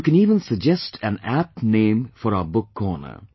And you can even suggest an apt name for our book corner